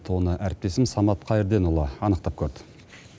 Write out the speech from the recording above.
оны әріптесім самат қайрденұлы анықтап көрді